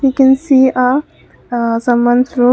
we can see a a someone's room.